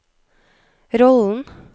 rollen